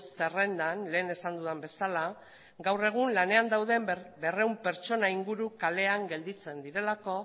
zerrendan lehen esan dudan bezala gaur egun lanean dauden berrehun pertsona inguru kalean gelditzen direlako